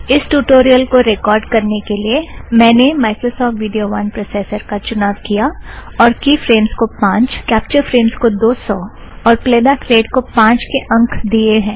इस ट्युटोरियल को रेकॉर्ड़ करने के लिए मैंने माइक्रोसॉफ़्ट विड़ियो वन कम्प्रेसर का चुनाव किया और की फ़्रेम्स को पाँच कॅप्चर फ़्रेम्स को दो सौ और प्लेबॅक रेट को पाँच के अंक दियें हैं